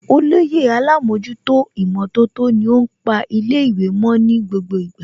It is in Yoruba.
Olóyè Alámọ̀jútó ìmọ̀tótó ni ó ń pa ilé ìwé mo ní gbogbo ìgbà